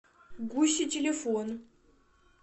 гуси телефон